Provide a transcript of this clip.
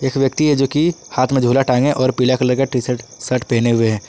एक व्यक्ति है जोकि हाथ में झूला टांगें और पीला कलर का टी_शर्ट शर्ट पहने हुए हैं।